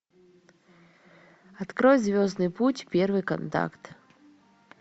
открой звездный путь первый контакт